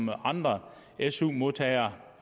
hvad andre su modtagere